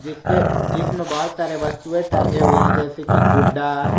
इसके जिसमें बहोत सारे वस्तुएं टांगे हुए हैं जैसे कि गुड्डा।